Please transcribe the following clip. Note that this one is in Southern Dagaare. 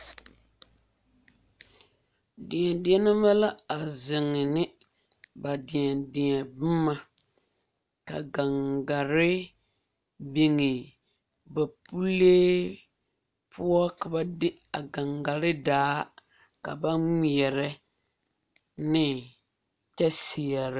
Yie la taa koɔ ka lɔɔpelaa be a koɔ poɔ ka bie do are a lɔre zu kyɛ seɛ kurisɔglaa kyɛ yage o kparoŋ ka teere meŋ are a yie puori seŋ kyɛ ka vūūmie meŋ a wa gaa.